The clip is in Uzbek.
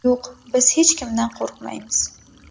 Yo‘q, biz hech kimdan qo‘rqmaymiz.